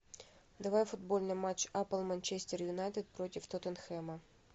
давай футбольный матч апл манчестер юнайтед против тоттенхэма